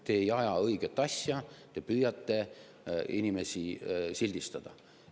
Te ei aja õiget asja, te püüate inimesi sildistada.